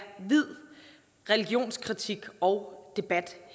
vid religionskritik og debat